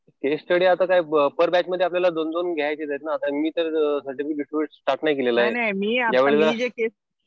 केस study आता काय पर बॅच आपल्याला दोन-दोन घ्यायचेत आहेत ना. मी तर सर्टिफिकेट स्टार्ट नाही केलेलं. या वेळेला